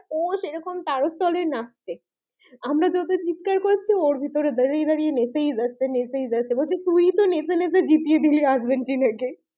ও সে রকম তারস্বরে নাচছে আমরা যতো চিৎকার ওর ভিতরে দাঁড়িয়ে দাঁড়িয়ে নেচেই যাচ্ছে নেচেই যাচ্ছে বলছে তুই তো নেচে নেচে জিতিয়ে দিলি আর্জেন্টিনাকে